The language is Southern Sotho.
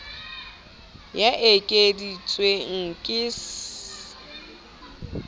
ya e ekeditsweng ke s